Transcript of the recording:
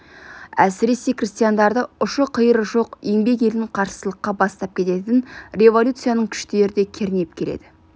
әсіресе крестьяндарды ұшы-қиыры жоқ еңбек елін қарсылыққа бастап кететін революцияның күштері де кернеп келеді